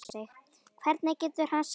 Hvernig getur hann sagt þetta?